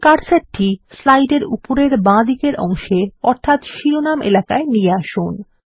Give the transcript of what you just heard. এখন কার্সারটি স্লাইড এর উপরের বাঁদিকের অংশে অর্থাত শিরোনাম এলাকায় নিয়ে আসুন